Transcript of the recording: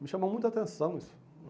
Me chamou muita atenção isso.